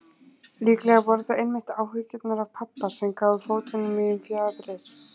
Líklega voru það einmitt áhyggjurnar af pabba sem gáfu fótum mínum fjaðrir.